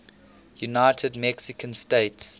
united mexican states